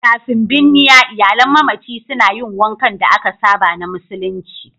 Kafin binniya, iyalan mamaci suna yin wankan da aka saba na musulunci.